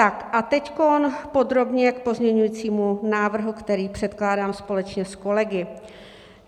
A teď podrobně k pozměňovacímu návrhu, který předkládám společně s kolegy.